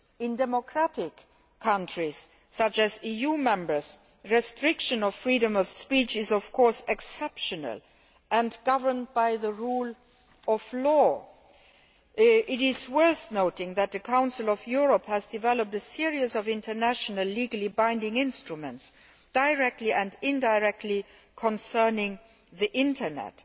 In democratic countries, such as the EU Member States, restrictions on the freedom of speech are exceptional and governed by the rule of law. It is worth noting that the Council of Europe has developed a series of international, legally binding instruments, directly and indirectly concerning the Internet.